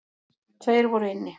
Tveir voru inni.